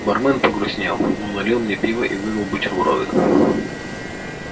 бармен погрустнел но налил мне пива и выдал бутерброды